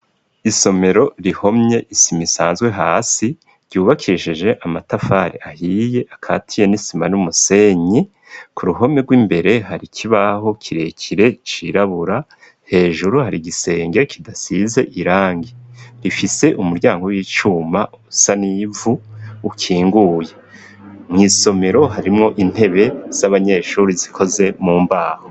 Isomero, rihomye isima isanzwe, hasi, ryubakishije amatafari ahiye, akatiye n'isima, n'umusenyi; ku ruhome rw'imbere, hari kibaho, kirekire, cirabura; hejuru, hari igisenge kidasize irangi; rifise umuryango w'icuma, usa n'ivu, ukinguye; mw'isomero, harimwo intebe z'abanyeshuri, zikoze mu mbaho.